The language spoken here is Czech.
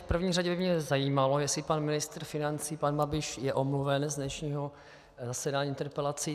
V první řadě by mě zajímalo, jestli pan ministr financí pan Babiš je omluven z dnešního zasedání interpelací.